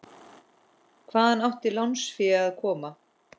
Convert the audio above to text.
Hvaðan átti lánsfé að koma?